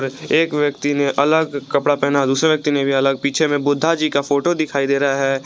एक व्यक्ति ने अलग कपड़ा पहना है दूसरे व्यक्ति ने भी अलग पीछे में बुद्धा जी का फोटो दिखाई दे रहा है।